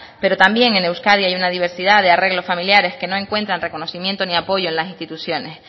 pero también en euskadi hay una diversidad de arreglo familiares que no encuentran reconocimiento ni apoyo en las instituciones